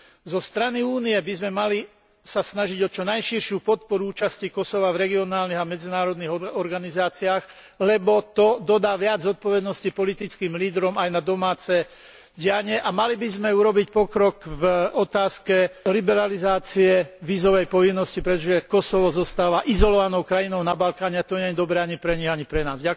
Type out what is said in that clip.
Zo strany Únie by sme sa mali snažiť o čo najširšiu podporu účasti Kosova v regionálnych a medzinárodných organizáciách, lebo to dodá viac zodpovednosti politickým lídrom, aj na domáce dianie, a mali by sme urobiť pokrok v otázke liberalizácie vízovej povinnosti, pretože Kosovo zostáva izolovanou krajinou na Balkáne a to nie je dobré ani pre nich, ani pre nás.